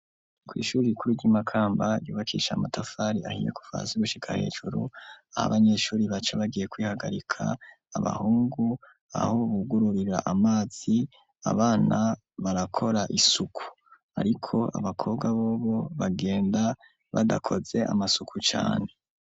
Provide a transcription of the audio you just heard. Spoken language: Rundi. Kw'ishure rikuru ry'Imakamba ryubakishije amatafari ahiye kuva hasi gushika hejuru, aho abanyeshure baca bagiye kwihagarika, abahungu aho bugururira amazi, abana barakora isuku, ariko abakobwa bobo bagenda badakoze amasuku cane.